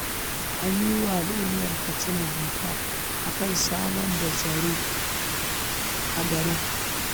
An yi wa al'ummar Katsina bita a kan samar da tsaro a gari